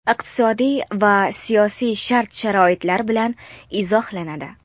iqtisodiy va siyosiy shart-sharoitlar bilan izohlanadi.